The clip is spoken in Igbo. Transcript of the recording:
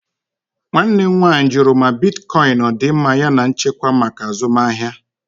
Nwanne m nwanyị jụrụ ma bitkọịn ọ dị mma yana nchekwa maka azụmahịa.